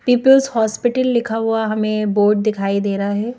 Peoples hospital लिखा हुआ हमें बोर्ड दिखाई दे रहा है।